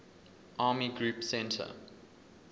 army group centre